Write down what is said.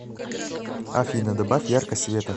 афина добавь яркость света